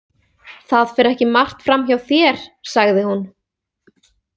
Það fer ekki margt fram hjá þér, sagði hún.